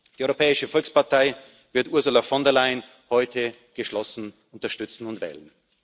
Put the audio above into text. Die Europäische Volkspartei wird Ursula von der Leyen heute geschlossen unterstützen und wählen.